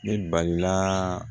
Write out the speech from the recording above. Ne balila